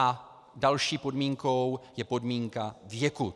A další podmínkou je podmínka věku.